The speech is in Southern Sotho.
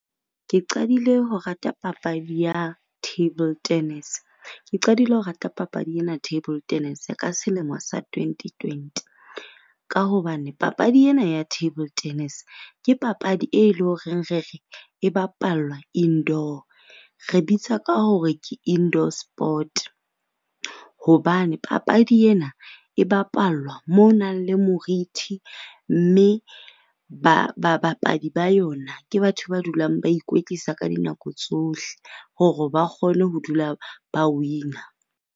Ke qadile ho rata papadi ya table tennis. Ke qadile ho rata papadi ena table tennis ka selemo sa 2020. Ka hobane papadi ena ya table tennis ke papadi e leng hore re re e bapallwa indoor, re bitsa ka hore ke indoor sport. Hobane papadi ena e bapallwa mo ho nang le morithi. Mme babapadi ba yona ke batho ba dulang ba ikwetlisa ka dinako tsohle hore ba kgone ho dula ba win-a.